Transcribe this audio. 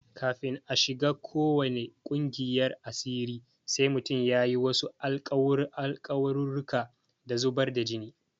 Kafin a shiga ko wane ƙungiyar asiri sai mutum ya yi wasu alƙawarurruka da zubar da jini.